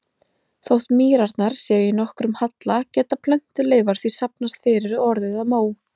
Þótt mýrarnar séu í nokkrum halla geta plöntuleifar því safnast fyrir og orðið að mó.